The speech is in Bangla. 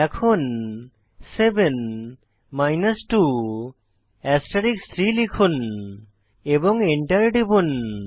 এখন 7 মাইনাস 3 অ্যাস্টেরিস্ক 2 লিখুন এবং এন্টার টিপুন